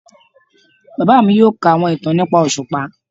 Bàbá mí yóò kà àwọn ìtàn nìpa oṣupá